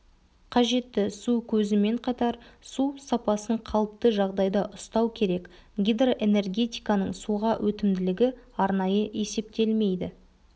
қажетті су көзімен қатар су сапасын қалыпты жағдайда ұстау керек гидроэнергетиканың суға өтімділігі арнайы есептелмейді